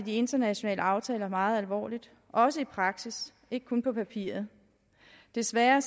de internationale aftaler meget alvorligt også i praksis ikke kun på papiret desværre